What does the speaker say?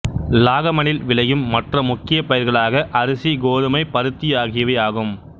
லாகமனில் விளையும் மற்ற முக்கிய பயிர்களாக அரிசி கோதுமை பருத்தி ஆகியவை ஆகும்